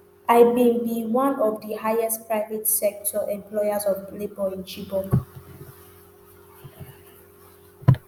i bin be one of di highest private sector employers of labour in chibok